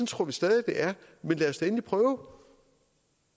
tror vi stadig det er men lad os da endelig prøve